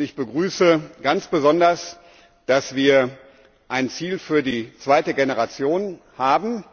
Ich begrüße ganz besonders, dass wir ein Ziel für die zweite Generation haben.